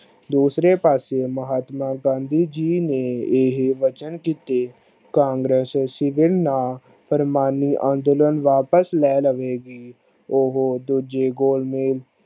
ਦੁਸਰੇ ਪਾਸੇ ਮਹਾਤਮਾ ਗਾਂਧੀ ਜੀ ਨੇ ਇਹ ਵਚਨ ਕੀਤੇ ਕਾਂਗਰਸ ਸਿਵਨ ਨਾ ਪ੍ਰਮਾਣੂ ਅੰਦੋਲਨ ਵਾਪਸ ਲੈ ਲਵੇ ਗੀ ਉਹ ਦੂਜੇ ਗੋਲ ਮੇਜ